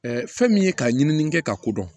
fɛn min ye ka ɲinini kɛ ka ko dɔn